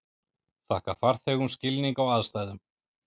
Þakka farþegum skilning á aðstæðum